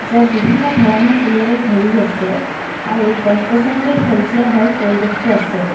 য'ত বিভিন্ন ধৰণৰ ফুলেৰে ভৰি আছে আৰু গছ গছনিৰে সেউজীয়া হৈ পৰিৱেশটো আছে।